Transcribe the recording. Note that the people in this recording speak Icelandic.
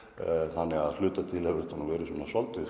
þannig að hluta til hefur þetta verið svolítið